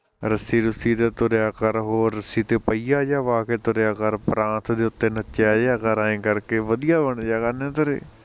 ਰੱਸੀ ਰੂਸੀ ਤੇ ਤੁਰਿਆ ਕਰ, ਹੋਰ ਰੱਸੀ ਤੇ ਪਹੀਆ ਜਿਹਾ ਵਾਹ ਕੇ ਤੁਰਿਆ ਕਰ, ਪਰਾਤ ਦੇ ਉੱਤੇ ਨੱਚਿਆ ਜਿਹਾ ਕਰ ਐ ਕਰਕੇ ਵਧੀਆ ਬਣਜਿਆ ਕਰਨੇ ਤੇਰੇ